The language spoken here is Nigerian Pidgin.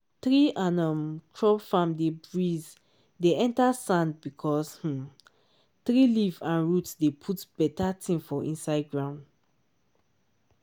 tree and um crop farm dey breeze dey enter sand because um tree leaf and root dey put better thing for inside ground.